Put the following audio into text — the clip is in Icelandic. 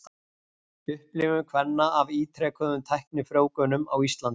Upplifun kvenna af ítrekuðum tæknifrjóvgunum á Íslandi.